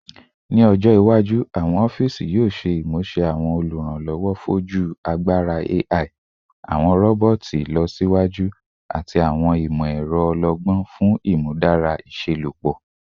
Ni ọjọ iwaju, awọn ọfiisi yoo ṣe imuse awọn oluranlọwọ foju agbara AI, awọn roboti ilọsiwaju, ati awọn imọ-ẹrọ ọlọgbọn fun imudara iṣelọpọ